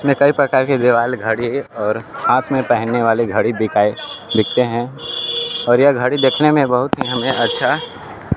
इसमें कई प्रकार के देवाल घड़ी और हाथ में पहनने वाली घड़ी दिखाइ दिखते हैं और यह घड़ी देखने में बहुत ही हमे अच्छा --